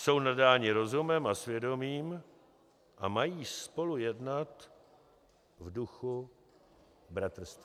Jsou nadáni rozumem a svědomím a mají spolu jednat v duchu bratrství."